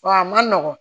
Wa a ma nɔgɔn